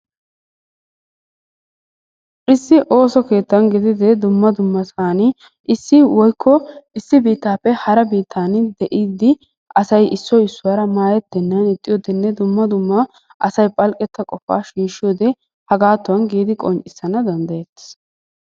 Issi osso kettanni gididde duma osso kettani issi woyko issi bittappe woyko hara bittani de'iddi asay issoy isuwara madetenanni ixiyowode duma duma asay phalqetta qopaa shishiyodee hagatonni gidi qonccisanawu dandayettes.